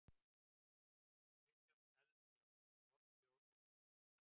Kristján Eldjárn: Fornþjóð og minjar.